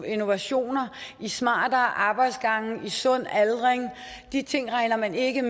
innovation i smartere arbejdsgange i sund aldring de ting medregner man ikke